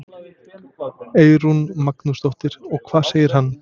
Eyrún Magnúsdóttir: Og hvað segir hann?